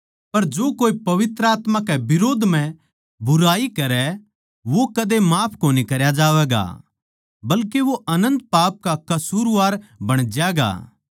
पर जो कोए पवित्र आत्मा कै बिरोध म्ह बुराई करै वो कदे माफ कोनी करया जावैगा बल्के वो अनन्त पाप का कसूरवार बण ज्यागा